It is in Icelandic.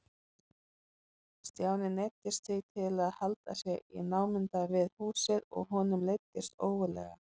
Stjáni neyddist því til að halda sig í námunda við húsið og honum leiddist ógurlega.